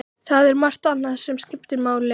Þrengslin hafa ekki angrað mig fyrr.